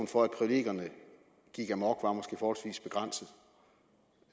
for at det gik amok var måske forholdsvis begrænset